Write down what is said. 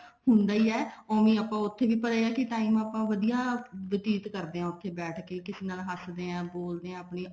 ਹੁੰਦੀ ਆ ਓਵੀੰ ਆਪਾਂ ਪਰ ਇਹ ਆ ਕੇ time ਆਪਾਂ ਵਧੀਆ ਬਤੀਤ ਕਰਦੇ ਹਾਂ ਉੱਥੇ ਬੈਠ ਕੇ ਨਾ ਹੱਸਦੇ ਹਾਂ ਬੋਲਦੇ ਹਾਂ ਆਪਣੀ